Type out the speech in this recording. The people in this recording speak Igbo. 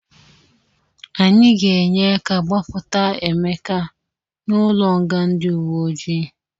Anyị ga-enye aka gbapụta Emeka n'ụlọnga ndị uwe ojii.